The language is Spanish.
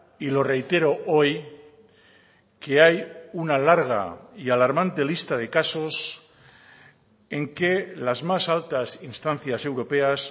y lo reitero hoy que hay una larga y alarmante lista de casos en que las más altas instancias europeas